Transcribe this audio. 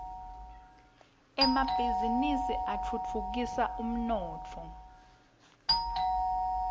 emabhizini atfutfukisa umnotfo